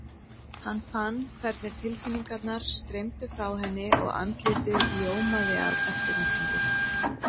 Hann fann hvernig tilfinningarnar streymdu frá henni og andlitið ljómaði af eftirvæntingu.